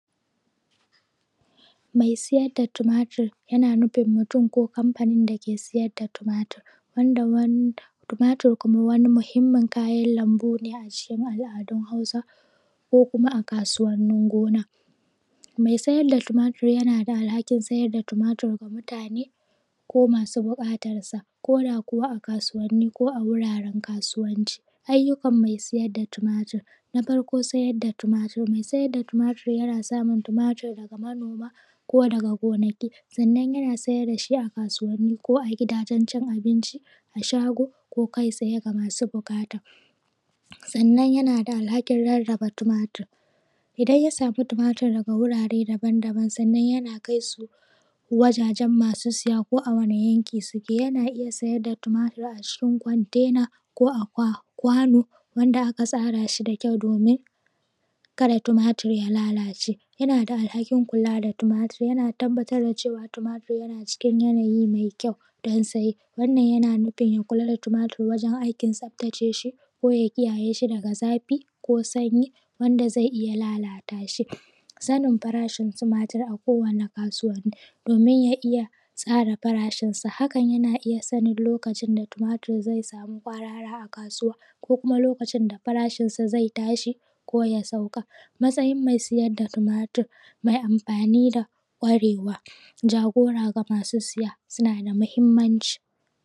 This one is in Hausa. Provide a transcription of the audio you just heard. mai siyar da tumatur yana nufin mutum ko kamfanin dake sai da tumatur wanda tumatur kuma mahimmin kayan lambu ne a cikin al adun hausa ko kuma a kasuwannin gona mai sayar da tumatur yanada alhakin sayar da tumatur ma mutane ko masu bukatan sa koda kuwa a kasuwanni ko a wuraren kasuwanci ayyukan mai saida tumatur na farko sayar da tumatur mai sayar da tumatur yana samun tumatur daga manoma ko daga gonaki sannan yanasai dashi a gidajen cin abinci shago ko tsaye ga masu bukata sannan yanada alhakin rarraba tumatur idan ya sama daga wurare daban daban sannan yana kai su wuraren masu saya ko a wani yanki suke yana iyya saida da tumatur a cikin kwantena ko a wanda aka tsarashi da kyau domin kada tumatur ya lalace yana da lahakin kula da tumatur yana tabbatar da cewan tumatur yana cikin yanayi mai kyau da saye wannan yana nufin cewan ya kula da tumatur gurin tsaftace shi dan saye koya kiyayeshi daga zafi ko sanyi wanda zai iyya lalatashi sanin farashin tumatur a kowi kasuwa domin ya iyya tsara farashin sa hakan yana nufin yasan lokacin da tumatur zaiyi tsada ko arha a kasuwa koya sauka matsayin mai sai da tumatur mai amfani da kwarewa jagora ga masu siya suna da mahimmanci